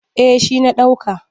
Eh shi na ɗauka.